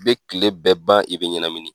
Bɛ kile bɛɛ ban i bɛ ɲɛnamini.